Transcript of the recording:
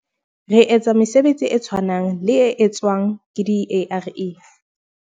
"Re etsa mesebetsi e tshwanang le e tswang ke di-ARE."